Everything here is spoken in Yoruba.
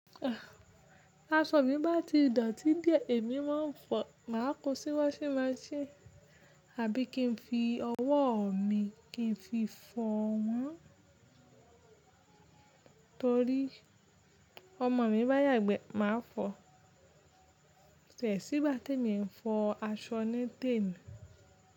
Aṣọ mi bá ti dọ̀tí díẹ̀, èmi máa ń fọ̀, máa kó sí wáṣhing machine, àbí kí n fi ọwọ́ mi kí n fi fọ wọn? Torí ọmọ mi bá yàgbẹ́, màá fọ. Ko tiẹ́ sí gbá ti ẹ̀mi ń fọ aṣọ nite mi.